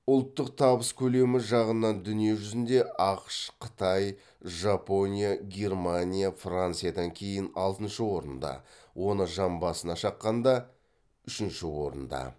ұлттық табыс көлемі жағынан дүние жүзінде ақш қытай жапония германия франциядан кейін алтыншы орында оны жан басына шаққанда үшінші орында